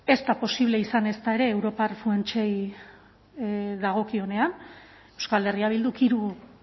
ez da posible izan ezta ere europar funtsei dagokionean euskal herria bilduk hiru